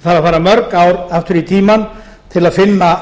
það þarf að fara mörg ár aftur í tímann til að finna